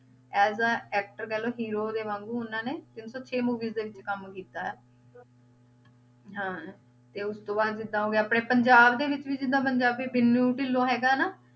As a actor ਕਹਿ ਲਓ hero ਦੇ ਵਾਂਗੂ ਉਹਨਾਂ ਨੇ ਤਿੰਨ ਸੌ ਛੇ movies ਦੇ ਵਿੱਚ ਕੰਮ ਕੀਤਾ ਹੈ ਹਾਂ ਤੇ ਉਸ ਤੋਂ ਬਾਅਦ ਜਿੱਦਾਂ ਹੋ ਗਏ ਆਪਣੇ ਪੰਜਾਬ ਦੇ ਵਿੱਚ ਵੀ ਪੰਜਾਬੀ ਵਿਨੂ ਢਿਲੋਂ ਹੈਗਾ ਨਾ